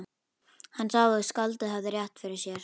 Hann sá að skáldið hafði rétt fyrir sér.